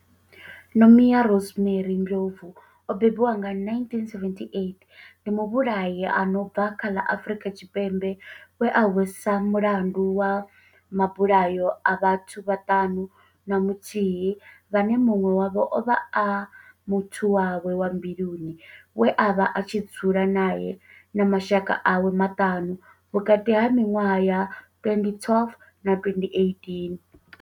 Nomia Rosemary Ndlovu o bebiwaho nga, 1978, ndi muvhulahi a no bva kha ḽa Afrika Tshipembe we a hweswa mulandu wa mabulayo a vhathu vhaṱanu na muthihi vhane munwe wavho ovha a muthu wawe wa mbiluni we avha a tshi dzula nae na mashaka awe maṱanu, vhukati ha minwaha ya 2012 na 2018.